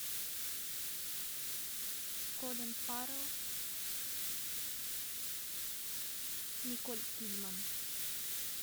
колин фаррелл николь кидман